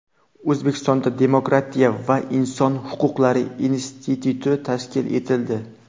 O‘zbekistonda Demokratiya va inson huquqlari instituti tashkil etildi.